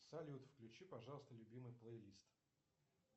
салют включи пожалуйста любимый плейлист